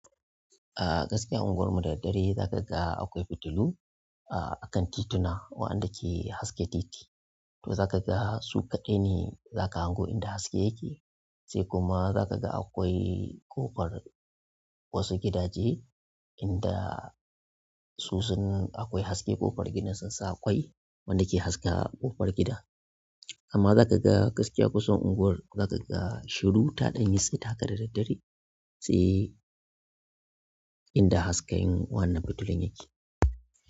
A gaskiya unguwar mu da daddare za ka ga akwai fitilu a kan tituna, wa'anda ke haske titi. To za ka ga su kaɗai ne za ka hango inda haske yake. Sai kuma za ka ga akwai ƙofar wasu gidaje inda su sun akwai haske ƙofar gidan sun sa ƙwai wanda ke haska ƙofar gida. Amma za ka ga gaskiya ƙusan unguwar za ka ga shiru taɗan yitsit haka da daddare sai inda hasken wannan fitulun yake.